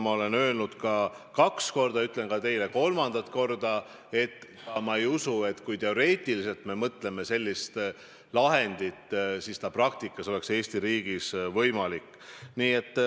Ma olen öelnud juba kaks korda, ütlen nüüd teile kolmandat korda: ma ei usu, et kui me teoreetiliselt võiksimegi sellisele lahendile mõelda, siis see praktikas ei oleks Eesti riigis võimalik.